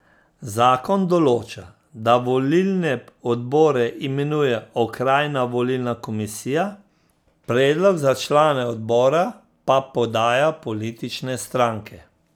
Zakon določa, da volilne odbore imenuje okrajna volilna komisija, predlog za člane odbora pa podajo politične stranke.